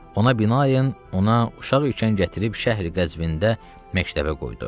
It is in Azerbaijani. Ona binaən ona uşaq ikən gətirib Şəhri Qəzvində məktəbə qoydu.